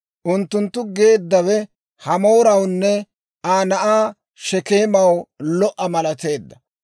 Unttunttu geeddawe Hamoorawunne Aa na'aa Shekeemaw lo"a malateedda.